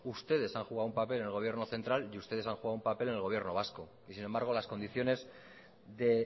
ustedes han jugado un papel en el gobierno central y ustedes han jugado un papel en el gobierno vasco y sin embargo las condiciones de